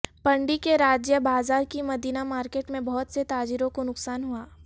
پنڈی کے راجہ بازار کی مدینہ مارکیٹ میں بہت سے تاجروں کو نقصان ہوا